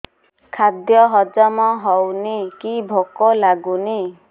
ଖାଦ୍ୟ ହଜମ ହଉନି କି ଭୋକ ଲାଗୁନି